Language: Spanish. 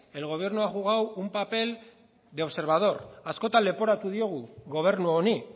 el gobierno ha jugado un papel de observador askotan leporatu diogu gobernu honi